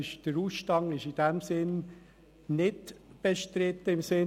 Der Ausstand im Sinn des VRPG ist nicht bestritten.